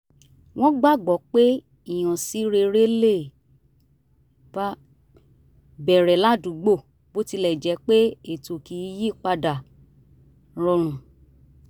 wọ́n gbàgbọ́ pé ìhànsí rere le bẹ̀rẹ̀ ládúgbò bó tilẹ̀ jẹ́ pé ètò kì í yí padà rọrùn